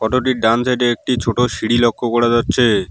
ডান side -এ একটি ছোট সিঁড়ি লক্ষ করা যাচ্ছে।